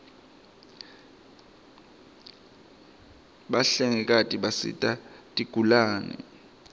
bahlengikati bisita tigulane